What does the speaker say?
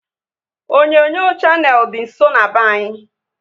Onyonyo Shannel dị nsọ n'be anyị